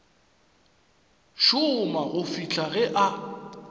šoma go fihla ge a